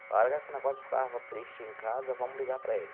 Na hora que o negócio ficava triste em casa, vamos ligar para ele.